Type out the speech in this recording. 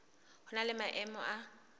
ho na le maemo a